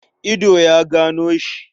Ido ya gano shi.